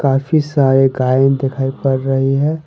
काफी सारे गाय दिखाई पड़ रही है।